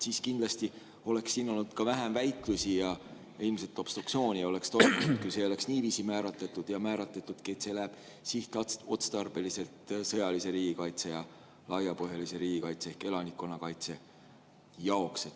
Siis kindlasti oleks siin olnud vähem väitlusi ja ilmselt obstruktsiooni ei oleks toimunud, kui see oleks niiviisi määratletud ja määratud, et see läheb sihtotstarbeliselt sõjalise riigikaitse ja laiapõhjalise riigikaitse ehk elanikkonnakaitse jaoks.